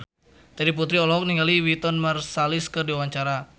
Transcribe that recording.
Terry Putri olohok ningali Wynton Marsalis keur diwawancara